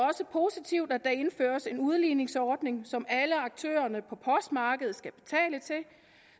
også positivt at der indføres en udligningsordning som alle aktørerne på postmarkedet skal betale til